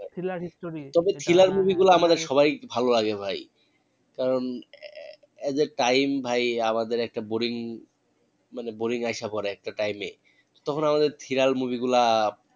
Thriller story ওটা হ্যাঁ হ্যাঁ তবে thriller movie গুলা আমারে সবাই ভালো লাগে ভাই কারণ as a time ভাই আমাদের একটা boring মানে boring আইসা পরে একটা time এ তখন আমাদের thriller movie গুলা